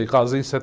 Me casei em